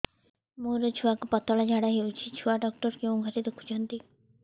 ମୋର ଛୁଆକୁ ପତଳା ଝାଡ଼ା ହେଉଛି ଛୁଆ ଡକ୍ଟର କେଉଁ ଘରେ ଦେଖୁଛନ୍ତି